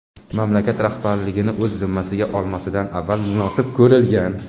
mamlakat rahbarligini o‘z zimmasiga olmasidan avval munosib ko‘rilgan.